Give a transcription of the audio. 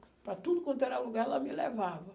Para tudo quanto era lugar, ela me levava.